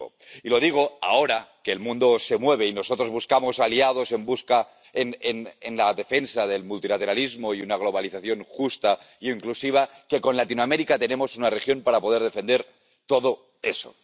Y lo digo ahora que el mundo se mueve y nosotros buscamos aliados en la defensa del multilateralismo y una globalización justa, inclusiva con Latinoamérica tenemos una región para poder defender todo eso.